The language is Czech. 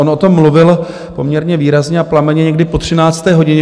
On o tom mluvil poměrně výrazně a plamenně někdy po 13. hodině.